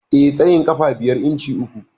Eh, Ina da tsayin ƙafa biyar inci uku.